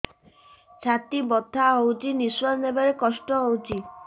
ଛାତି ବଥା ହଉଚି ନିଶ୍ୱାସ ନେବାରେ କଷ୍ଟ ହଉଚି